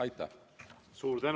Aitäh!